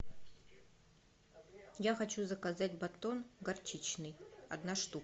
я хочу заказать батон горчичный одна штука